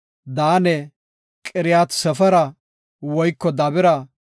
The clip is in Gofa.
Daane, Qiriyat-Sefera woyko Dabira,